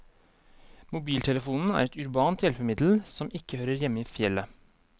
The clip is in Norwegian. Mobiltelefonen er et urbant hjelpemiddel, som ikke hører hjemme i fjellet.